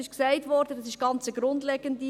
Es wurde gesagt, es sei eine ganz grundlegende.